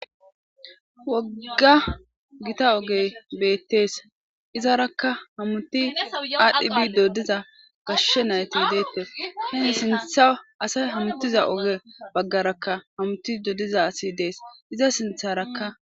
Woga githa oge beetes izaraa hameti adhdhi bidi gashe nayti detes.sintha asayi hematida oge bagaraka hamatidi diza asi dees.iza sintharaka